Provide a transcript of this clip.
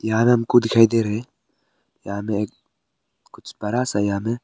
यहां में हमको दिखाई दे रहे यहां में कुछ बड़ा सा यहां में।